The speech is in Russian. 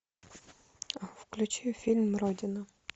включи фильм родина